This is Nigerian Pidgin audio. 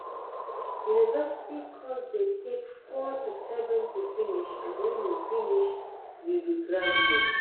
University course de take four to seven to finish and when you finish, you be graduate